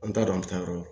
An t'a dɔn an bɛ taa yɔrɔ